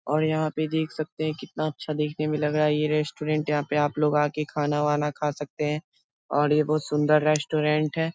और यहाँ पे देख सकते है कितना अच्छा देखने में लग रहा है ये रेस्ट्रोरेंट यहाँ पे आप लोग आके खाना-वाना खा सकते है और ये बहुत सुंदर रेस्ट्रोरेंट है ।.